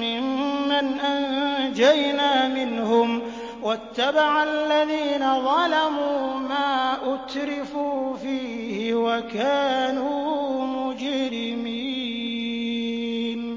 مِّمَّنْ أَنجَيْنَا مِنْهُمْ ۗ وَاتَّبَعَ الَّذِينَ ظَلَمُوا مَا أُتْرِفُوا فِيهِ وَكَانُوا مُجْرِمِينَ